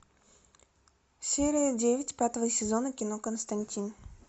серия девять пятого сезона кино константин